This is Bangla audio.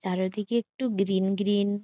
চারিদিকে একটু গ্রীন গ্রীন ।